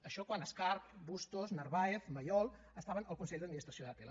això quan escarp bustos narváez mayol estaven al consell d’administració d’atll